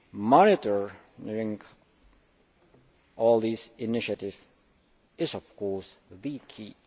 Monitoring all these initiatives is, of course, the key.